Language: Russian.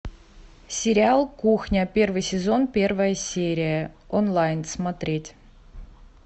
сериал кухня первый сезон первая серия онлайн смотреть